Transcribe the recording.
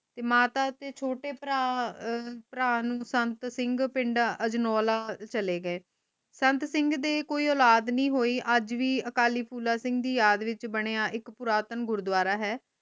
ਤੇ ਮਾਤਾ ਤੇ ਛੋਟੇ ਭਰਾ ਨੂੰ ਸੰਤ ਸਿੰਘ ਪਿੰਡ ਅਜਨੋਲਾ ਚਲੇ ਗਏ ਸੰਤ ਸਿੰਘ ਦੇ ਕੋਈ ਔਲਾਦ ਨੀ ਹੋਈ ਅਜ ਵੀ ਅਕਾਲੀ ਫੂਲਾ ਸਿੰਘ ਦੀ ਯਾਦ ਵਿਚ ਬਣਿਆ ਇਕ ਪੁਰਾਤਨ ਗੁਰੂਦਵਾਰਾ ਹੈ